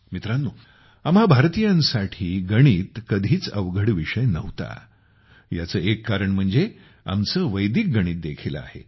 मित्रानो आम्हां भारतीयांसाठी गणित कधीच अवघड विषय नव्हता ह्याचे एक कारण आमचे वैदिक गणित देखील आहे